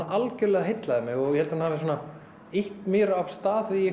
algjörlega heillaði mig og ég held að hún hafi ýtt mér af stað í